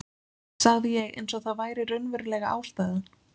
sagði ég eins og það væri raunverulega ástæðan.